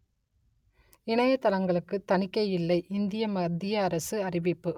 இணையதளங்களுக்கு தணிக்கை இல்லை இந்திய மத்திய அரசு அறிவிப்பு